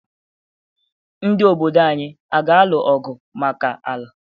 Ndị obodo anyị aga-alụ ọgwụ maka ala.